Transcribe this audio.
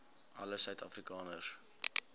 alle suid afrikaners